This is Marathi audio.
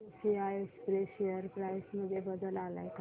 टीसीआय एक्सप्रेस शेअर प्राइस मध्ये बदल आलाय का